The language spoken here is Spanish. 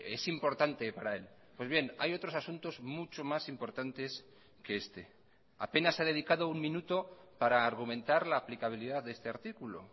es importante para él pues bien hay otros asuntos mucho más importantes que este apenas se ha dedicado un minuto para argumentar la aplicabilidad de este artículo